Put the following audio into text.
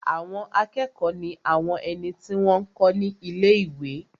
Àwọn akẹ́kọ̀ọ́ ní àwọn ẹni tí wọ́n n kọ́ ní ilé-ìwé